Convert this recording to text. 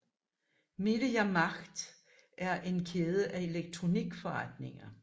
Media Markt er en kæde af elektronikforretninger